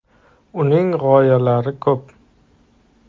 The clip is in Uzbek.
Uning g‘oyalari ko‘p.